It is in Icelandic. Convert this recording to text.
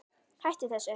Hættu þessu!